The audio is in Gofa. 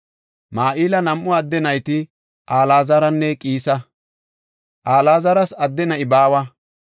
Mahila nam7u adde nayti Alaazaranne Qiisa. Alaazaras adde na7i baawa.